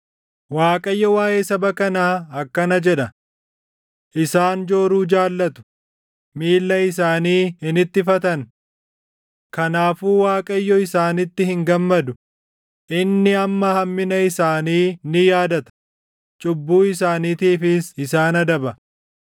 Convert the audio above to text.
Waaqayyo waaʼee saba kanaa akkana jedha: “Isaan jooruu jaallatu; miilla isaanii hin ittifatan. Kanaafuu Waaqayyo isaanitti hin gammadu; inni amma hammina isaanii ni yaadata; cubbuu isaaniitiifis isaan adaba.”